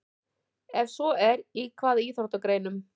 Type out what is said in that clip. Ef svo er, í hvaða íþróttagreinum?